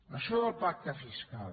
això del pacte fiscal